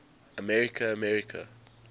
america america